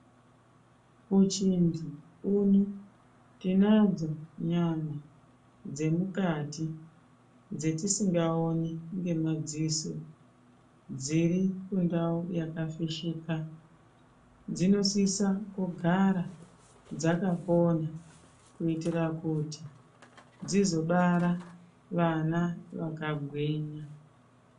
Uchinzi une tinadzo nyama dzemukati dzetisingaoni ngemadziso dziri kundau yakafishika. Dzinosisa kugara dzakapona kuitira kuti dzizobara vana vakagwinya.